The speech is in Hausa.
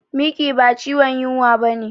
Miki ba ciwon yunwa bane